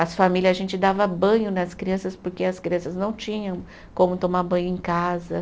As famílias, a gente dava banho nas crianças porque as crianças não tinham como tomar banho em casa.